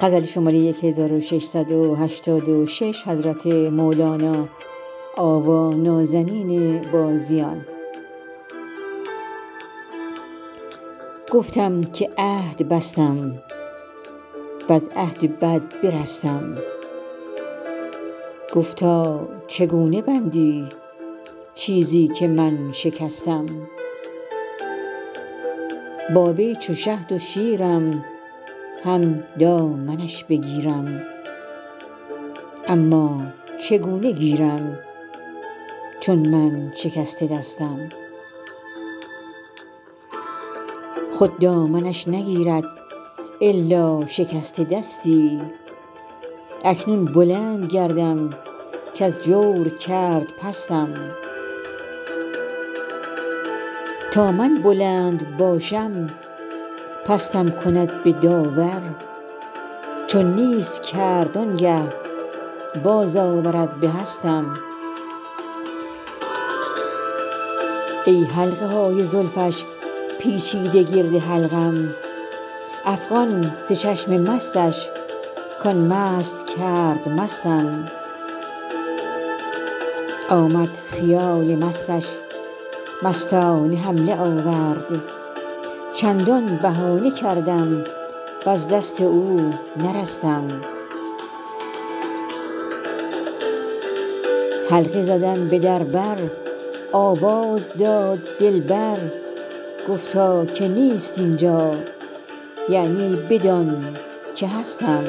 گفتم که عهد بستم وز عهد بد برستم گفتا چگونه بندی چیزی که من شکستم با وی چو شهد و شیرم هم دامنش بگیرم اما چگونه گیرم چون من شکسته دستم خود دامنش نگیرد الا شکسته دستی اکنون بلند گردم کز جور کرد پستم تا من بلند باشم پستم کند به داور چون نیست کرد آنگه بازآورد به هستم ای حلقه های زلفش پیچیده گرد حلقم افغان ز چشم مستش کان مست کرد مستم آمد خیال مستش مستانه حمله آورد چندان بهانه کردم وز دست او نرستم حلقه زدم به در بر آواز داد دلبر گفتا که نیست این جا یعنی بدان که هستم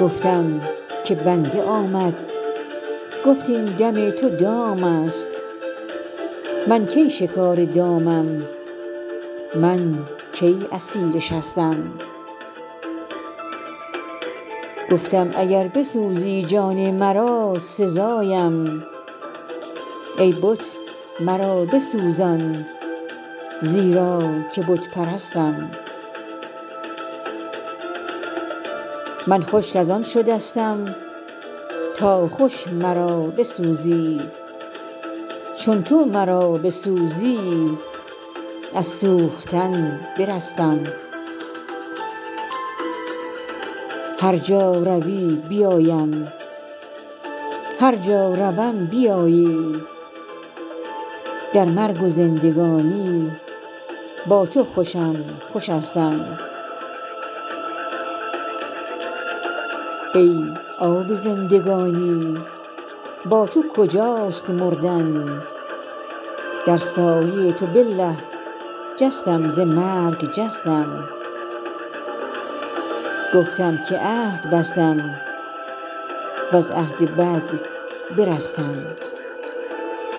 گفتم که بنده آمد گفت این دم تو دام است من کی شکار دامم من کی اسیر شستم گفتم اگر بسوزی جان مرا سزایم ای بت مرا بسوزان زیرا که بت پرستم من خشک از آن شدستم تا خوش مرا بسوزی چون تو مرا بسوزی از سوختن برستم هر جا روی بیایم هر جا روم بیایی در مرگ و زندگانی با تو خوشم خوشستم ای آب زندگانی با تو کجاست مردن در سایه تو بالله جستم ز مرگ جستم